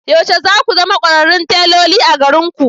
Yaushe za ku zama kwararrun teloli a garinku?